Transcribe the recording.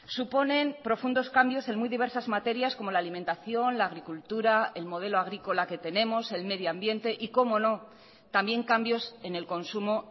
suponen profundos cambios en muy diversas materias como la alimentación la agricultura el modelo agrícola que tenemos el medio ambiente y cómo no también cambios en el consumo